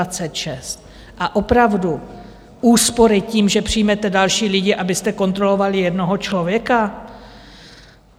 A opravdu úspory, tím, že přijmete další lidi, abyste kontrolovali jednoho člověka?